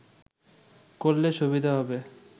করলে সুবিধা হবে